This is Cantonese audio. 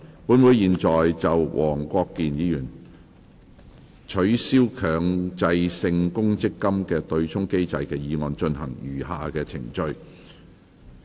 本會現在就黃國健議員"取消強制性公積金對沖機制"的議案進行餘下的程序。